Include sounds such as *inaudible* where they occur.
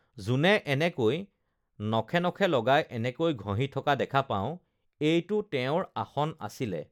*noise* যোনে এনেকৈ uhh নখে নখে লগাই এনেকৈ ঘহি থকা দেখা পাওঁ এইটো তেওঁৰ আসন আছিলে